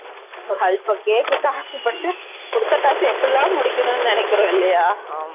ஓ அல்ப cake க்கு ஆசைப்பட்டு கொடுத்த காச எப்படில்லாம் முடிக்கணும்னு நினைக்கறோம் இல்லையா